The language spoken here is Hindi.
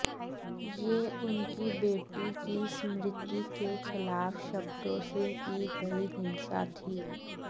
यह उनकी बेटी की स्मृति के खिलाफ शब्दों से की गई हिंसा थी